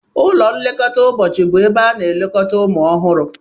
Ụlọ nlekọta ụbọchị bụ ebe a na-elekọta ụmụ ọhụrụ.